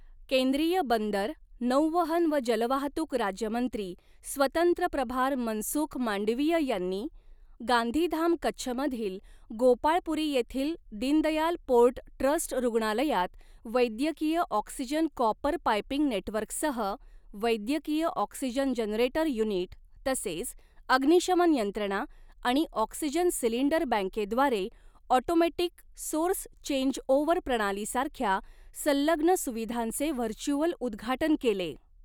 केंद्रीय बंदर, नौवहन व जलवाहतूक राज्यमंत्री स्वतंत्र प्रभार मनसुख मांडवीय यांनी गांधीधाम कच्छ मधील गोपाळपुरी येथील दीनदयाल पोर्ट ट्रस्ट रुग्णालयात वैद्यकीय ऑक्सिजन कॉपर पाइपिंग नेटवर्कसह वैद्यकीय ऑक्सिजन जनरेटर युनिट तसेच अग्निशमन यंत्रणा आणि ऑक्सिजन सिलिंडर बँकेद्वारे ऑटोमॅटिक सोर्स चेंजओव्हर प्रणाली सारख्या संलग्न सुविधांचे व्हर्चुअल उद्घाटन केले.